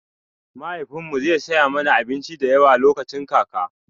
Mahaifin mu zai saya mana abinci da yawa lokacin kaka